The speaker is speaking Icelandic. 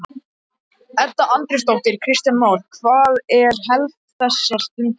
Edda Andrésdóttir: Kristján Már, hvað er helst þessa stundina?